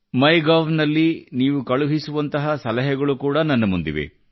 ಮೈ gov ನಲ್ಲಿ ನೀವು ಕಳುಹಿಸುವಂತಹ ಸಲಹೆಗಳು ಕೂಡ ನನ್ನ ಮುಂದಿವೆ